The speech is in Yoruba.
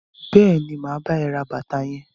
Bẹẹni, ma bá ẹ ra bàtà yẹn.